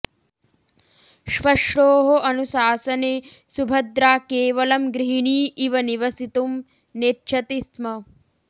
श्वश्रोः अनुशासने सुभद्रा केवलं गृहिणी इव निवसितुं नेच्छति स्म